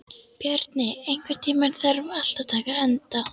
Bjarni, einhvern tímann þarf allt að taka enda.